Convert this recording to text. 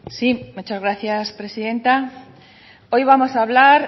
sí muchas gracias presidenta hoy vamos hablar